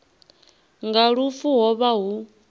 nga lufu ho vha hu